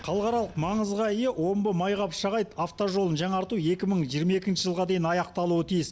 халықаралық маңызға ие омбы майқапшағай автожолын жаңарту екі мың жиырма екінші жылға дейін аяқталуы тиіс